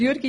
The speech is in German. Jürg